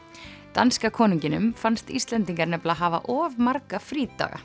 danska konunginum fannst Íslendingar nefnilega hafa of marga frídaga